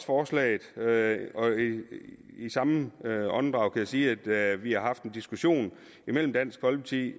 forslaget i samme åndedrag kan jeg sige at vi har haft en diskussion imellem dansk folkeparti